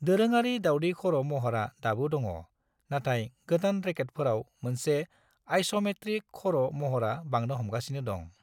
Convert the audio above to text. दोरोंआरि दावदै खर' महरा दाबो दङ, नाथाय गोदान रेकेटफोराव मोनसे आइस'मेत्रिक खर' महरा बांनो हमगासिनो दं।